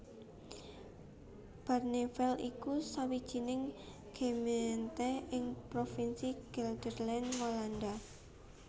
Barneveld iku sawijining gemeente ing provinsi Gelderland Walanda